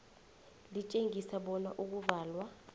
litjengise bona ukuvalwa